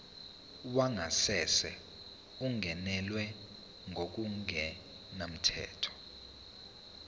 wangasese ungenelwe ngokungemthetho